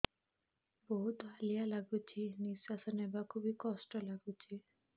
ବହୁତ୍ ହାଲିଆ ଲାଗୁଚି ନିଃଶ୍ବାସ ନେବାକୁ ଵି କଷ୍ଟ ଲାଗୁଚି